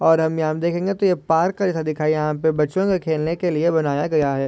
और हम यहा देखेगें तो ये पार्क जैसा दिखाई यहाँ पे बच्चों के खेलने के लिए बनाया गया है।